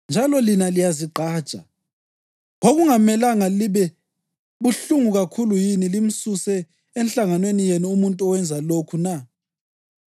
Njalo lina liyazigqaja! Kwakungamelanga libe buhlungu kakhulu yini limsuse enhlanganweni yenu umuntu owenze lokhu na?